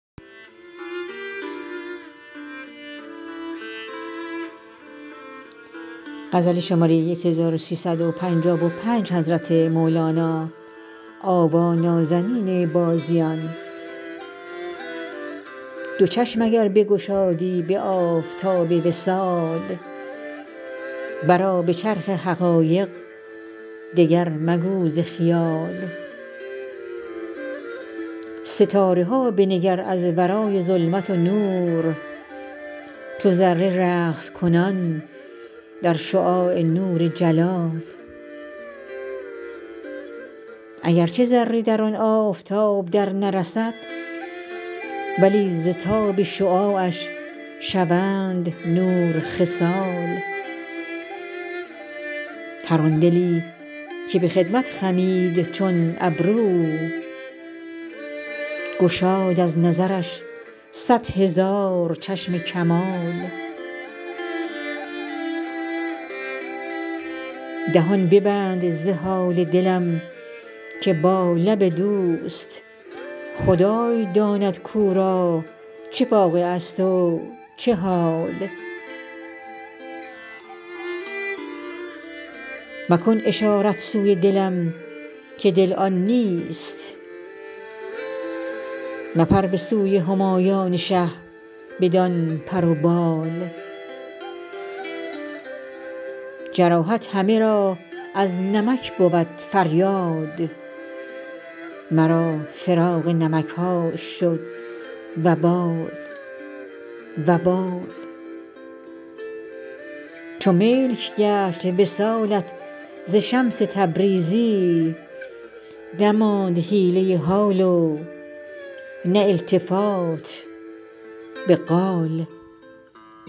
دو چشم اگر بگشادی به آفتاب وصال برآ به چرخ حقایق دگر مگو ز خیال ستاره ها بنگر از ورای ظلمت و نور چو ذره رقص کنان در شعاع نور جلال اگر چه ذره در آن آفتاب درنرسد ولی ز تاب شعاعش شوند نور خصال هر آن دلی که به خدمت خمید چون ابرو گشاد از نظرش صد هزار چشم کمال دهان ببند ز حال دلم که با لب دوست خدای داند کو را چه واقعه ست و چه حال مکن اشارت سوی دلم که دل آن نیست مپر به سوی همایان شه بدان پر و بال جراحت همه را از نمک بود فریاد مرا فراق نمک هاش شد وبال وبال چو ملک گشت وصالت ز شمس تبریزی نماند حیله حال و نه التفات به قال